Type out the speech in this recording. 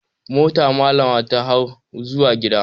Mota malama ta hau zuwa gida.